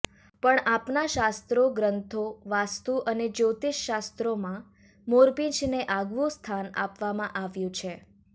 પણ આપણા શાસ્ત્રો ગ્રંથો વાસ્તુ અને જ્યોતિષશાસ્ત્રોમાં મોરપીંછને આગવું સ્થાન આપવામાં આવ્યુ છે